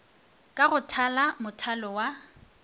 ka go thala mothalo wa